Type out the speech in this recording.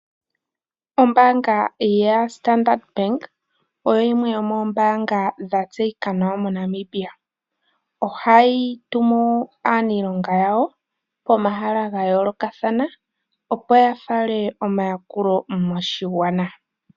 Ombaanga ya Standard bank oyo yimwe yomombaanga ya tseyika nawa moNamibia. Ohayi tumu aniilonga yawo pomahala ga yoolokathana opo yafale omayakulo moshigwana.